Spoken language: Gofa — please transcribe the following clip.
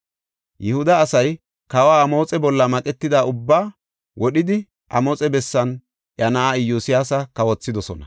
Yihuda asay kawa Amoxe bolla maqetida ubbaa wodhidi, Amoxe bessan iya na7aa Iyosyaasa kawothidosona.